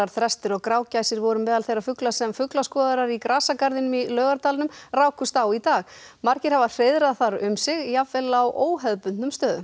þrestir og grágæsir voru meðal þeirra fugla sem fuglaskoðarar í grasagarðinum í Laugardalnum rákust á í dag margir hafa hreiðrað þar um sig jafnvel á óhefðbundnum stöðum